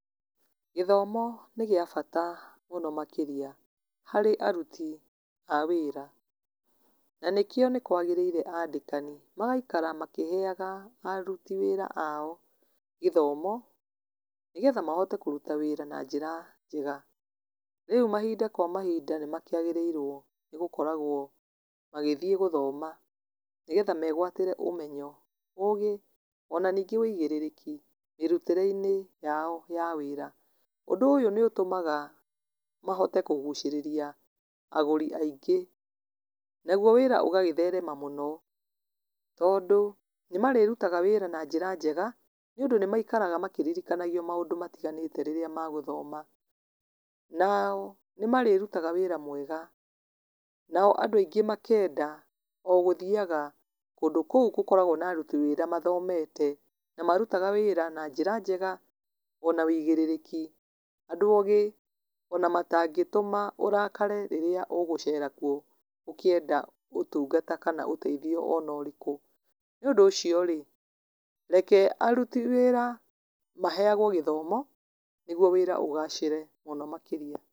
Gĩthomo nĩ gĩa bata mũno makĩria, harĩ aruti a wĩra. Na nĩkĩo nĩ kwagĩrĩire andĩkani, magaikara makĩheaga aruti wĩra ao gĩthomo, nĩgetha mahote kũruta wĩra na njĩra njega. Rĩu mahinda kwa mahinda nĩ makĩagĩrĩirwo gũkoragwo magĩthiĩ gũthoma. Nĩgetha megwatĩre ũmenyo, ũũgĩ, ona ningĩ wĩigĩrĩrĩki mĩrutĩre-inĩ yao ya wĩra. Ũndũ ũyũ nĩ ũtũmaga mahote kũgucĩrĩria agũri aingĩ. Naguo wĩra ũgagĩtherema mũno, tondũ, nĩmarĩrutaga wĩra na njĩra njega, nĩ ũndũ nĩ maikaraga makĩririkanio maũndũ matiganĩte rĩrĩa magũthoma. Na nĩ marĩrutaga wĩra mwega. Nao andũ aingĩ makenda o gũthiaga kũndũ kũu gũkoragwo na aruti wĩra mathomete, na marutaga wĩra na njĩra njega, ona wĩigĩrĩrĩki. Andũ ogĩ, ona matangĩtũma ũrakare rĩrĩa ũgũceera kuo ũkĩenda ũtungata kana ũteithio ona ũrĩkũ. Nĩ ũndũ ũcio rĩ, reke aruti wĩra maheagwo gĩthomo, nĩguo wĩra ũgacĩre mũno makĩria.